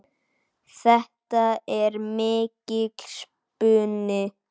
Þetta er mikill spuni.